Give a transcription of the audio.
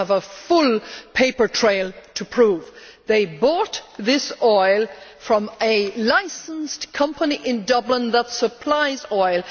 They have a full paper trail to prove they bought this oil from a licensed company in Dublin that supplies oil.